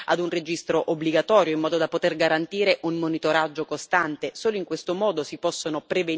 Faccio riferimento, in particolare, a un registro obbligatorio, in modo da poter garantire un monitoraggio costante.